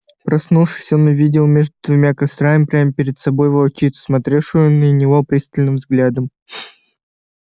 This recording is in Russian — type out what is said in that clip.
проснувшись он увидел между двумя кострами прямо перед собой волчицу смотревшую на него пристальным взглядом